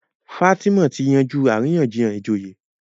Fatima tí yanjú àríyànjiyàn ìjòyè.